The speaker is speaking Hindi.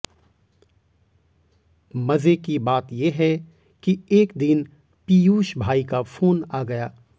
मजे की बात ये है कि एक दिन पीयूष भाई का फोन आ गया